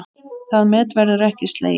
Það met verður ekki slegið.